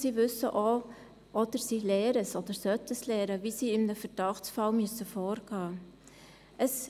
Sie wissen auch, oder sie lernen oder sollten lernen, wie sie in einem Verdachtsfall vorgehen müssen.